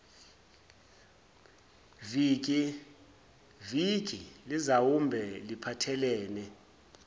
viki lizawube liphathelene